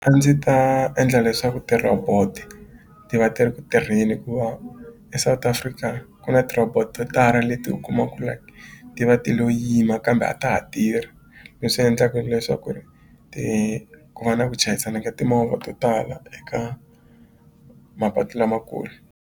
A ndzi ta endla leswaku ti-robot ti va ti ri ku tirheni hikuva eSouth-Africa ku na ti-robot to tala leti u kuma ku like ti va ti lo yima kambe a ta ha tirhi leswi endlaka leswaku ri ti ku va na ku chayisana ka timovha to tala eka mapatu lamakulu.